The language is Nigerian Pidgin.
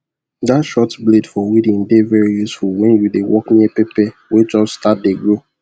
that short blade for weeding dey very useful when you dey work near pepper wey just start de grow